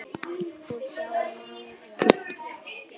og Hjá Márum.